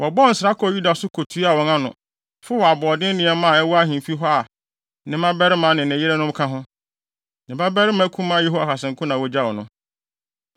Wɔbɔɔ nsra kɔɔ Yuda so kotuaa wɔn ano, fow aboɔden nneɛma a ɛwɔ ahemfi hɔ a ne mmabarima ne ne yerenom ka ho. Ne babarima kumaa Yehoahas nko na wogyaw no.